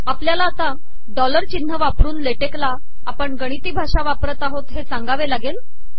आपलयाला डॉलर िचनह वापरन लेटेक ला आपण गिणती भाषा वापरत आहोत हे सागावे लागेल